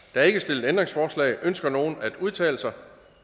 der er ikke stillet ændringsforslag ønsker nogen at udtale sig